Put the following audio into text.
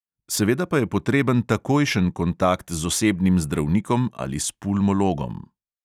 Seveda pa je potreben takojšen kontakt z osebnim zdravnikom ali s pulmologom.